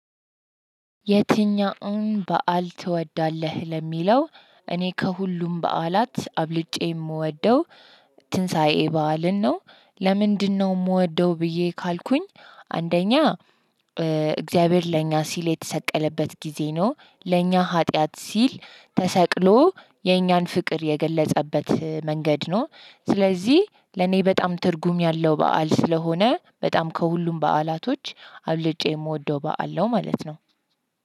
የትኛውን በዓል ትወዳለህ ለሚለው? እኔ ከሁሉም በዓላት አብልጬ የምወደው ትንሣኤ በዓልን ነው። ለምንድነው ምወደው ብዬ ካልኩኝ። አንደኛ እግዚአብሔር ለኛ ሲል የተሰቀለበት ጊዜ ነው። ለኛ ሀጥያት ሲል ተሰቅሎ የኛን ፍቅር የገለፀበት መንገድ ነው። ስለዚህ ለኔ በጣም ትርጉም ያለው በዓል ስለሆነ በጣም ከሁሉም በዓላቶች አብልጬ ምወደው በዓል ነው ማለት ነው።